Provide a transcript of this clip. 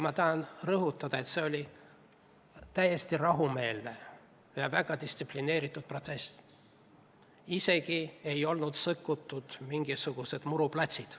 Ma tahan rõhutada, et see oli täiesti rahumeelne ja väga distsiplineeritud protsess, isegi muruplatse ei olnud sõtkutud.